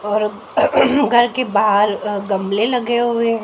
और घर के बाहर अ गमले लगे हुए हैं।